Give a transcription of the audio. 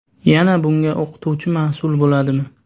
Yana bunga o‘qituvchi mas’ul bo‘ladimi?